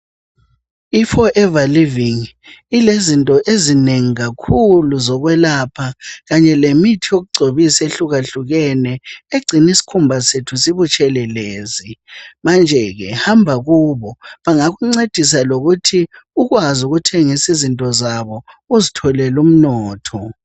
IForever Living ilezinto ezinengi kakhulu zokwelapha kanye lemithi yokugcobisa ehlukahlukene egcina isikhumba sethu sibutshelelezi. Manje ke hamba kubo bengakuncedisa lokuthi ukwazi ukuthengisa izinto zabo uzitholele umnotho.